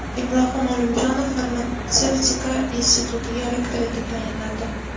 Ibrohim Olimjonov Farmatsevtika institutiga rektor etib tayinlandi.